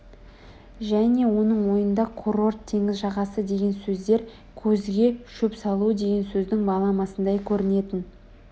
және оның ойында қурорт теңіз жағасы деген сөздер көзге шөп салу деген сөздің баламасындай көрінетін